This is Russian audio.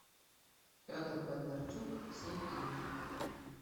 федор бондарчук все фильмы